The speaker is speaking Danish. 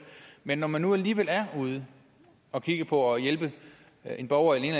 men når man nu alligevel er ude at kigge på og hjælpe en borger i en